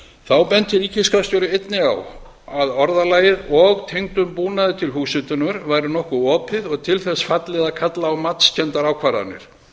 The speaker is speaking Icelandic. þá benti ríkisskattstjóri einnig á að orðalagið og tengdum búnaði til húshitunar væri nokkuð opið og til þess fallið að kalla á matskenndar ákvarðanir